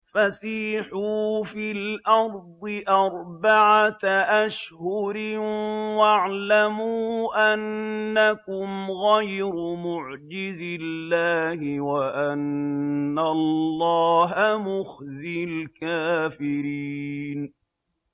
فَسِيحُوا فِي الْأَرْضِ أَرْبَعَةَ أَشْهُرٍ وَاعْلَمُوا أَنَّكُمْ غَيْرُ مُعْجِزِي اللَّهِ ۙ وَأَنَّ اللَّهَ مُخْزِي الْكَافِرِينَ